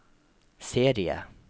serie